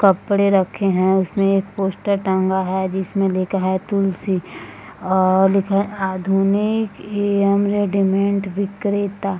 कपड़े रखे हैं। उसमें एक पोस्टर टांगे है जिसमें लिखा है तुलसी और लिखा है आधुनिक एवेम रेडीमेड विक्रेता।